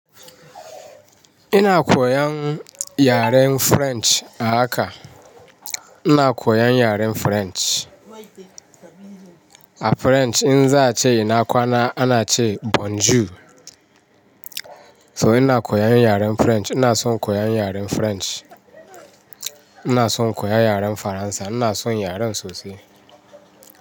Ina koyan yaren French a haka. Ina koyan yaren French. A French in za a ce ina kwana ana ce bonjour. So ina koyan yaren French. Ina son koyan yaren French. Ina son koyan yaren Faransa. Ina son yaren sosai.